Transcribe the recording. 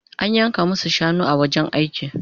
An yanka masu shanu a wajen aiki